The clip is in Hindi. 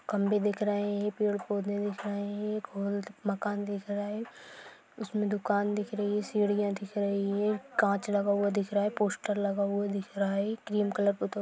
खंबे दिख रहे है पेड़-पौधे दिख रहे है एक हॉल द मकान दिख रहा है उसमें दुकान दिख रही सीढ़ियाँ दिख रही है काँच लगा हुआ दिख रहा है पोस्टर लगा हुआ दिख रहा है क्रीम कलर पुतो --